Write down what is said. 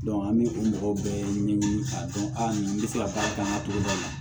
an bɛ o mɔgɔw bɛɛ ɲɛɲini k'a dɔn a ni n bɛ se ka baara kɛ an ka togoda la